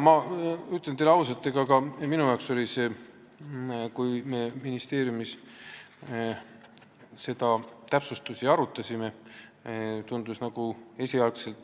Ma ütlen teile ausalt, et kui me ministeeriumis neid täpsustusi arutasime, siis tundus esialgu ka